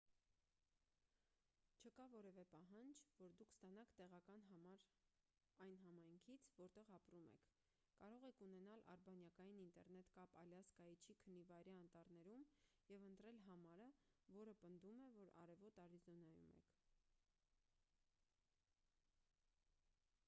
չկա որևէ պահանջ որ դուք ստանաք տեղական համար այն համայնքից որտեղ ապրում եք կարող եք ունենալ արբանյակային ինտերնետ կապ ալյասկայի չիքընի վայրի անտառներում և ընտրել համարը որը պնդում է որ արևոտ արիզոնայում եք